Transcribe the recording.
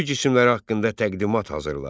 Göycisimləri haqqında təqdimat hazırla.